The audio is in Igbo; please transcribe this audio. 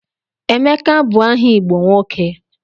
Emeka bụ aha Igbo nwoke.